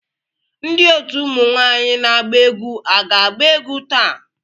ndị otu ụmụ nwanyị na-agba egwu aga-agba egwu taa